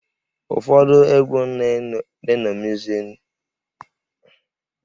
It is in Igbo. Ụfọdụ ndị egwú na-eṅomizi ụdị egwú Bọb Mali